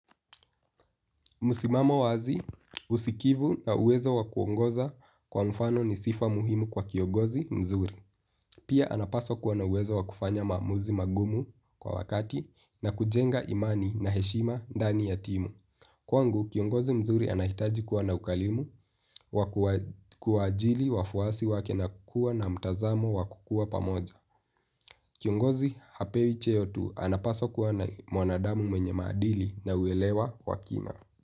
Msimamo wazi, usikivu na uwezo wa kuongoza kwa mfano, ni sifa muhimu kwa kiongozi mzuri. Pia anapaswa kuwa na uwezo wa kufanya maamuzi magumu kwa wakati na kujenga imani na heshima ndani ya timu. Kwangu, kiongozi mzuri anahitaji kuwa na ukalimu, wa kuwa ajili wafwasi wake na kua na mtazamo wa kukua pamoja. Kiongozi hapewi cheo tu anapaswa kuwa na mwanadamu mwenye maadili na huelewa wakina.